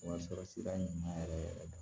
Wa sɔrɔ sira ɲuman yɛrɛ yɛrɛ de